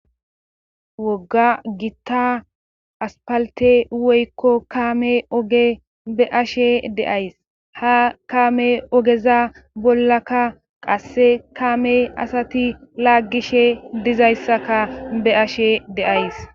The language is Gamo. wogga gitta aspalte woykko kaame oge be'ashe de'ays ha kaame ogeza bollakka qasse kaamey asati laaggishe dizayssaka be ashe de'ays